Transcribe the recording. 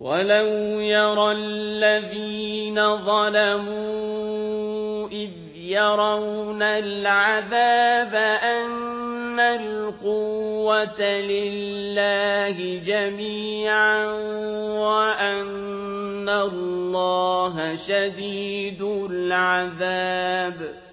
وَلَوْ يَرَى الَّذِينَ ظَلَمُوا إِذْ يَرَوْنَ الْعَذَابَ أَنَّ الْقُوَّةَ لِلَّهِ جَمِيعًا وَأَنَّ اللَّهَ شَدِيدُ الْعَذَابِ